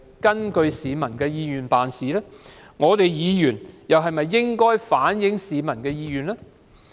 我們身為議員又是否應該反映市民的意願？